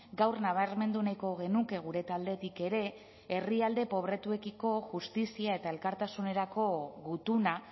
gaur nabarmendu nahiko genuke gure taldetik ere herrialde pobretuekiko justizia eta elkartasunerako gutuna